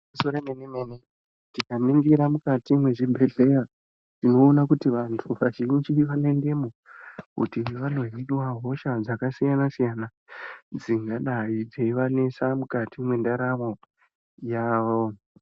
Igwinyiso yemene mene tikaningira mukati mwezvibhedhlera tinoone kuti vantu vazhinji vanoendemo kuti vandozviniwa hosha dzakasiyana siyana dzingadai dzaivanesa mwukati mwendaramo yavo.